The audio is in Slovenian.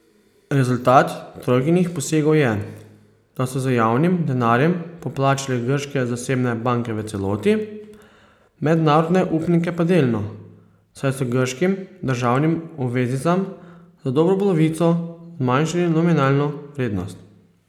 Rezultat trojkinih posegov je, da so z javnim denarjem poplačali grške zasebne banke v celoti, mednarodne upnike pa delno, saj so grškim državnim obveznicam za dobro polovico zmanjšali nominalno vrednost.